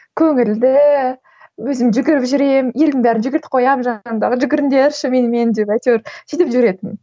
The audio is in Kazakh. көңілді өзім жүгіріп жүремін елдің бәрін жүгіртіп қоямын жанымдағы жүгіріңдерші менімен деп әйтеуір сөйтіп жүретінмін